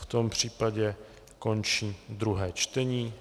V tom případě končím druhé čtení.